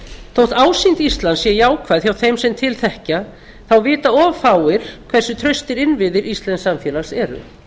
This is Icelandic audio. þótt ásýnd íslands sé jákvæð hjá þeim sem til þekkja þá vita of fáir hversu traustir innviðir íslensks samfélags eru